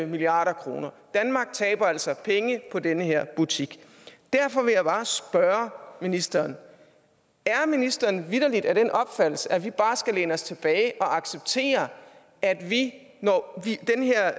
milliard kroner danmark taber altså penge på den her butik derfor vil jeg bare spørge ministeren er ministeren vitterlig af den opfattelse at vi bare skal læne os tilbage og acceptere at vi når den her